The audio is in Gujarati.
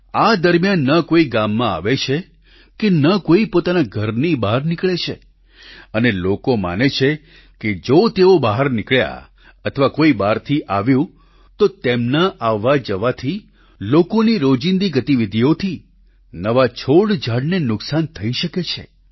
આ દરમિયાન ન કોઈ ગામમાં આવે છે કે ન કોઈ પોતાના ઘરની બહાર નીકળે છે અને લોકો માને છે કે જો તેઓ બહાર નીકળ્યા અથવા કોઈ બહારથી આવ્યું તો તેમના આવવાજવાથી લોકોની રોજીંદી ગતિવિધીઓથી નવા છોડઝાડને નુકસાન થઈ શકે છે